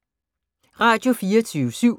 Radio24syv